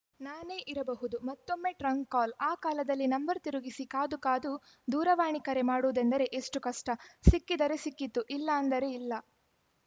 ನಾನೇ ಇರಬಹುದುಮತ್ತೊಮ್ಮೆ trunk call ಆ ಕಾಲದಲ್ಲಿ ನಂಬರ್‌ ತಿರುಗಿಸಿ ಕಾದು ಕಾದು ದೂರವಾಣಿ ಕರೆ ಮಾಡುವುದೆಂದರೆ ಎಷ್ಟುಕಷ್ಟ ಸಿಕ್ಕಿದರೆ ಸಿಕ್ಕಿತುಇಲ್ಲಾಂದರೆ ಇಲ್ಲ